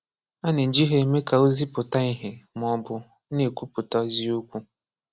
A na-eji ha eme ka ozi pụta ìhè ma ọ bụ na-ekwùpụ̀tà ezíokwú.